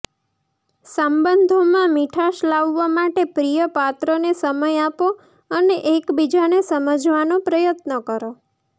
સંબંધોમાં મીઠાશ લાવવા માટે પ્રિય પાત્રને સમય આપો અને એકબીજાને સમજવાનો પ્રયત્ન કરો